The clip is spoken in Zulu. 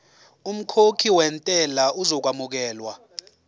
umkhokhi wentela uzokwamukelwa